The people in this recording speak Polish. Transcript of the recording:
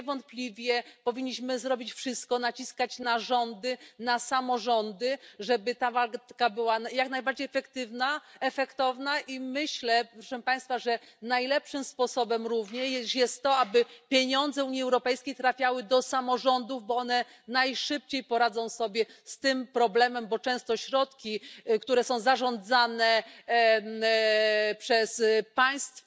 Niewątpliwie powinniśmy zrobić wszystko naciskać na rządy, na samorządy, żeby ta walka była jak najbardziej efektywna, efektowna, i myślę, proszę państwa, że najlepszym sposobem jest również to, aby pieniądze Unii Europejskiej trafiały do samorządów, bo one najszybciej poradzą sobie z tym problemem, gdyż często środki zarządzane przez państwa